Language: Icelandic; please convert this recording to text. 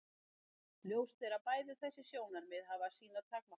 Ljóst er að bæði þessi sjónarmið hafa sínar takmarkanir.